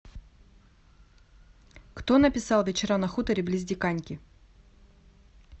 кто написал вечера на хуторе близ диканьки